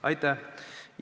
Aitäh!